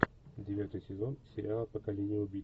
девятый сезон сериала поколение убийц